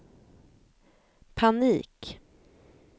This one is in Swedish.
panik